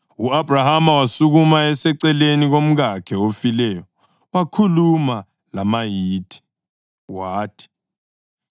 U-Abhrahama wasukuma eseceleni komkakhe ofileyo wakhuluma lamaHithi. Wathi,